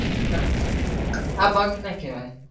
નાં આ bunk ના કહેવાય.